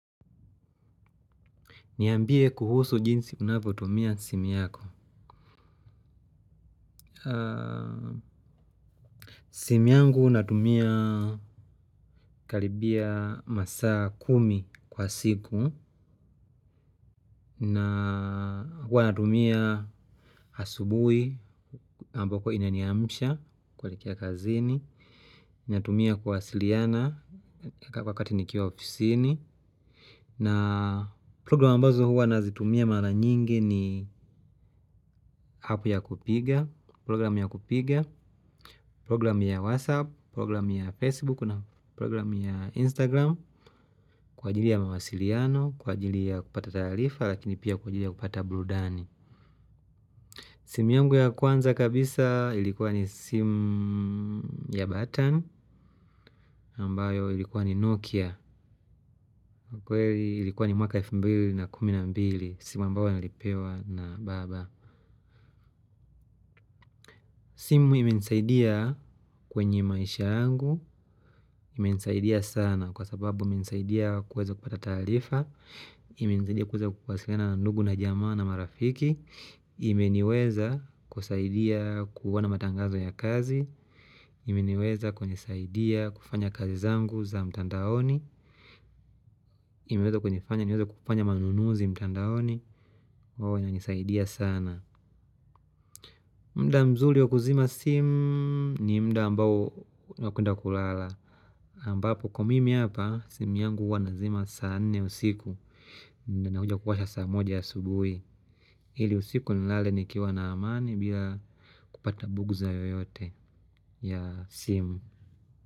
Niambie kuhusu jinsi unavyo tumia simu yako. Simu yangu natumia karibiya masaa kumi kwa siku. Na huwa natumia asubui ambako inani amusha kuelekea kazini. Natumia kuwasiliana wakati nikiwa ofisini. Na progiramu ambazo huwa nazitumia mara nyingi ni hapu ya kupiga. Progiramu ya kupiga, progiramu ya WhatsApp, progiramu ya Facebook na progiramu ya Instagram kwa ajili ya mawasiliano, kwa ajili ya kupata taarifa lakini pia kwa ajili ya kupata burudani. Simu yangu ya kwanza kabisa ilikuwa ni simu ya button ambayo ilikuwa ni Nokia kwa hiyo ilikuwa ni mwaka elfu mbili na kumi na mbili simu ambayo nilipewa na baba. Simu imenisaidia kwenye maisha yangu, imenisaidia sana, kwa sababu imenisaidia kuweza kupata taarifa, imenisaidia kuweza kuwasiliana na ndugu na jamaa na marafiki ime niweza kusaidia kuwona matangazo ya kazi ime niweza kunisaidia kufanya kazi zangu za mtandaoni imeweza kunifanya niweze kufanya manunuzi mtandaoni kwao ina nisaidia sana muda mzuri waku zima simu ni muda ambao wa kwenda kulala ambapo kwa mimi hapa simu yangu huwa nazima saa nne usiku na, na kuja kuwasha saa moja ya asubuhi. Ili usiku nilale nikiwa na amani bila kupata buguza yoyote ya simu.